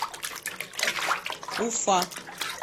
уфа